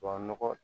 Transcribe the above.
Wa nɔgɔ